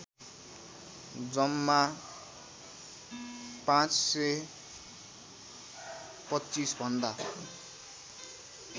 जम्मा ५२५ भन्दा